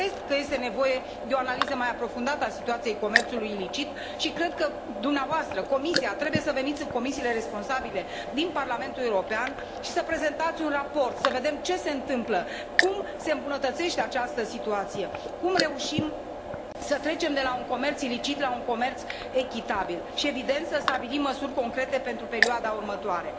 Cred că este nevoie de o analiză mai aprofundată a situației comerțului ilicit și cred că dumneavoastră, Comisia, trebuie să veniți în comisiile responsabile din Parlamentul European și să prezentați un raport să vedem ce se întâmplă, cum se îmbunătățește această situație, cum reușim să trecem de la un comerț ilicit la un comerț echitabil și evident să stabilim măsuri concrete pentru perioada următoare.